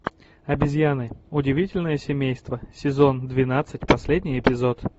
обезьяны удивительное семейство сезон двенадцать последний эпизод